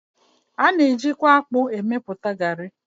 A na-eji kwa akpụ emepụta garị.